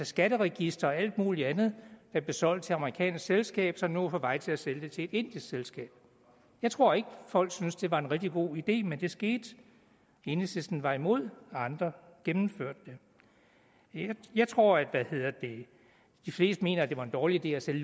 skatteregisteret og alt muligt andet blev solgt til et amerikansk selskab som nu er på vej til at sælge det til et indisk selskab jeg tror ikke folk syntes det var en rigtig god idé men det skete enhedslisten var imod og andre gennemførte det jeg tror at de fleste mener at det var en dårlig idé at sælge